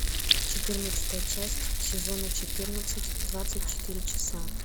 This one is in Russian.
четырнадцатая часть сезона четырнадцать двадцать четыре часа